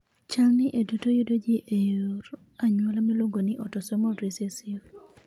Chal ni e duto yudo ji e yor anyuola miluongo ni autosomal recessive .